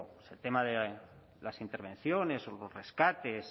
el tema de las intervenciones o los rescates